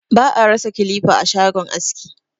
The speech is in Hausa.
Ba a rasa kilifa a shagon aski.